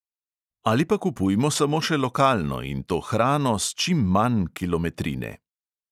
Ali pa kupujmo samo še lokalno, in to hrano s čim manj kilometrine.